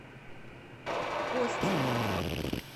костин